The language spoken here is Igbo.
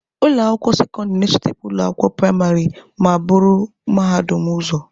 Ụlọ akwụkwọ sekọndịrị na-esote ụlọ akwụkwọ praịmarị ma buru mahadum ụzọ.